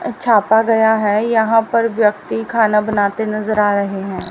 छापा गया है यहां पर व्यक्ति खाना बनाते नजर आ रहे हैं।